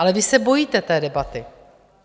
Ale vy se bojíte té debaty.